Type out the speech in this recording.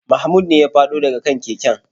Mahmud ne ya fado da ga kan keken.